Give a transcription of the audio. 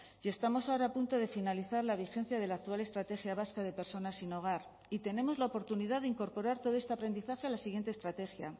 y estamos ahora a punto de finalizar la vigencia de la actual estrategia vasca de personas sin hogar y tenemos la oportunidad de incorporar todo este aprendizaje a la siguiente estrategia